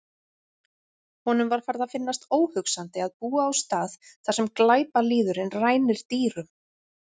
Honum var farið að finnast óhugsandi að búa á stað þar sem glæpalýðurinn rænir dýrum.